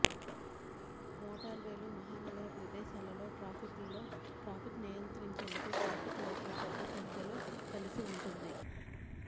మోటార్వేలు మహానగర ప్రదేశాలలో ట్రాఫిక్ లో ట్రాఫిక్ నియంత్రించేందుకు ట్రాఫిక్ లైట్లు పెద్ద సంఖ్యలో కలిసి ఉంటుంది